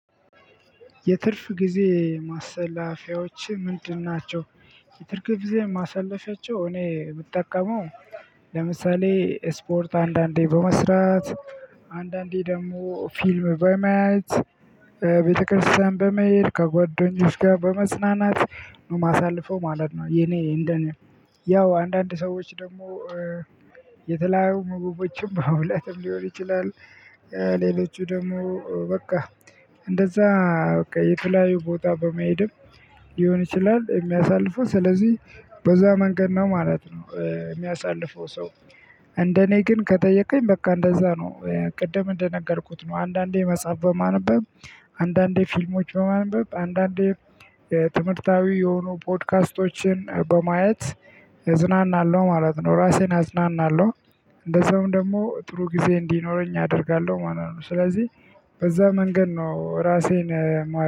የትርፍ ጊዜ ማሰላፊያዎች ምንድን ናቸው? የትርፍ ጊዜ ማሰለፊያቸው እኔ የምጠቀመው ለምሳሌ ስፖርት አንዳንዴ በመስራት አንዳንዴ ደግሞ ፊልም በማየት ቤተክርስቲያን በመሄድ ከጓደኞች ጋር በመጰናናት ነው የማሳልፈው ማለት ነው። የኔ እንደኔ ያው አንዳንድ ሰዎች ደግሞ የተለያዩ ምግቦችን በመብላትም ሊሆን ይችላል። ሌሎቹ ደግሞ በቃ እንደዛ በቃ የተለያዩ ቦታ በመሄድም ሊሆን ይችላል። የሚያሳልፈው ስለዚህ በዛ መንገድ ነው ማለት ነው። የሚያሳልፈው ሰው እንደኔ ግን ከጠየቅኩኝ በቃ እንደዛ ነው ቅድም እንደነገርኩት ነው አንዳንዴ መጽሐፍ በማነበብ አንዳንዴ ፊልሞች በማነበብ አንዳንዴ ትምህርታዊ የሆኑ ፖድካስቶችን በማየት እዝናናለሁ ማለት ነው። ራሴን አዝናናለሁ እንደዛውም ደግሞ ጥሩ ጊዜ እንዲኖረኝ አደርጋለው። ማለት ነው ሰለዚህ በዛ መንገድ ነው ራሴን ማ